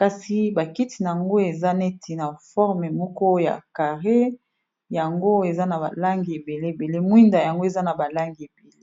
kasi bakiti nayango eza neti na forme moko ya carré yango eza na balangi ebele ebele mwinda yango eza na balangi ebele